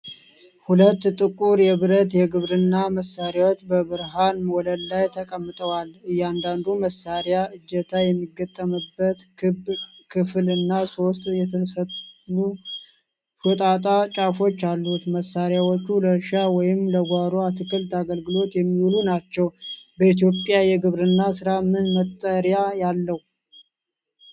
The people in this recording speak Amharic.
ሁለት ጥቁር የብረት የግብርና መሣሪያዎች በብርሃን ወለል ላይ ተቀምጠዋል። እያንዳንዱ መሣሪያ እጀታ የሚገጠምበት ክብ ክፍል እና ሶስት የተሰሉ ሾጣጣ ጫፎች አሉት። መሣሪያዎቹ ለእርሻ ወይም ለጓሮ አትክልት አገልግሎት የሚውሉ ናቸው። በኢትዮጵያ የግብርና ሥራ ምን መጠሪያ ያለው?